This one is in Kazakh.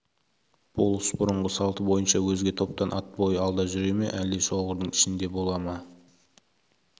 болыс бұрынғы салты бойынша өзге топтан ат бойы алда жүре ме әлде шоғырдың ішінде бола ма